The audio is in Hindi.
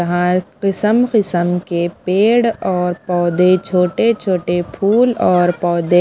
किसम-किस्म के पेड़ और पौधे छोटे-छोटे फूल और पौधे--